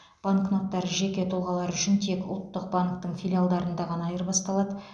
банкноттар жеке тұлғалар үшін тек ұлттық банктің филиалдарында ғана айырбасталады